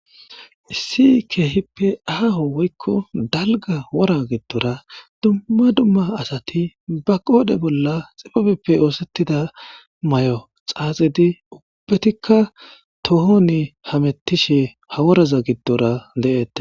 Issi keehippe aaho woykko dalga wora giddora dumma dumma asati ba qoode bolla xibabeppe oosettida mayo xaaxidi ubbatikka tohoni hamettishe haworaza giddora de'ette.